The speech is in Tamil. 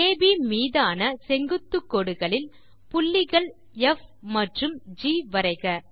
அப் மீதான செங்குத்து கோடுகளில் புள்ளிகள் ப் மற்றும் ஜி வரைக